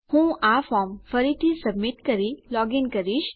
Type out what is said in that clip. હું આ ફોર્મ ફરીથી સબમિટ કરી લોગીન કરીશ